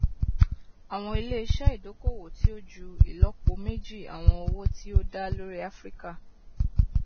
àwọn iléiṣẹ ìdókòwò tí ó ju ìlọpo méjì àwọn owó tí ó dá lórí áfíríkà